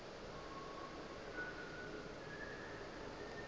gore o be a sa